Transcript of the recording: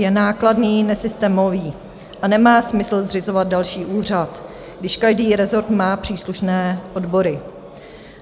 Je nákladný, nesystémový a nemá smysl zřizovat další úřad, když každý rezort má příslušné odbory.